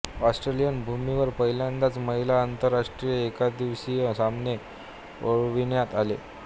Australian भूमीवर पहिल्यांदाच महिला आंतरराष्ट्रीय एकदिवसीय सामने खेळविण्यात आले